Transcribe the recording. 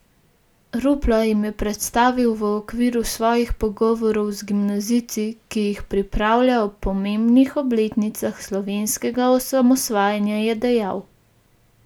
Rupla jim je predstavil v okviru svojih pogovorov z gimnazijci, ki jih pripravlja ob pomembnih obletnicah slovenskega osamosvajanja, je dejal.